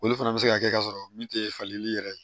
Olu fana bɛ se ka kɛ ka sɔrɔ min tɛ falenli yɛrɛ ye